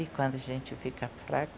E quando a gente fica fraco,